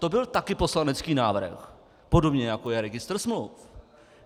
To byl také poslanecký návrh, podobně jako je registr smluv.